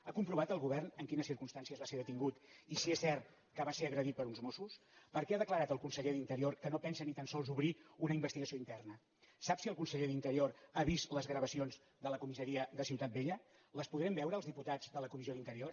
ha comprovat el govern en quines circumstàncies va ser detingut i si és cert que va ser agredit per uns mos·sos per què ha declarat el conseller d’interior que no pensa ni tan sols obrir una investigació interna sap si el conseller d’interior ha vist les gravacions de la co·missaria de ciutat vella les podrem veure els dipu·tats de la comissió d’interior